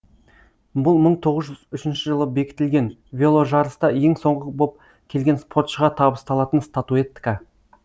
бұл мың тоғыз жүз үшінші жылы бекітілген веложарыста ең соңғы боп келген спортшыға табысталатын статуэтка